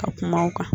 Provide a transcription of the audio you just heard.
Ka kuma u kan